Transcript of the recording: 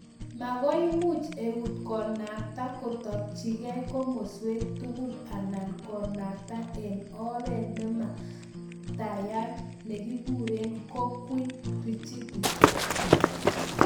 Makoimuch eut konakta kotakchikei komaswek tugul anan konakta eng' oret nemamaktayat nekikure ''cogweel'' rigidity